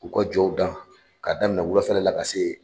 U ka jɔw dan ka daminɛ wulafɛla la ka se.